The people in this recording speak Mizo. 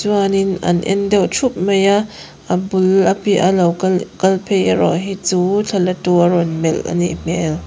chuanin an en deuh ṭhup mai a a bul a piaha lo kal phei erawh hi chu thla latu a rawn melh a nih hmel.